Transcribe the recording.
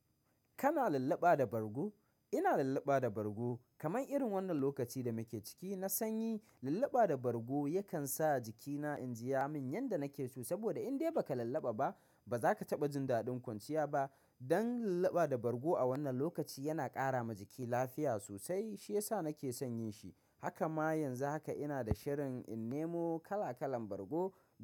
Kana lallaɓa da bargo? Ina lallaɓa da bargo. Kaman irin wannan lokaci da muke ciki, na sanyi lallaɓa da bargo yakan sa jikina in jiya min yanda nake so. Saboda in dai ba ka lallaɓa ba, ba za ka taɓa jin daɗin kwanciya ba. Dan lallaɓa da bargo a wannan lokaci yana ƙara ma jiki lafiya sosai, shi ya sa nake son yin shi. Haka ma yanzu haka ina da shirin in nemo kala-kalan bargo don-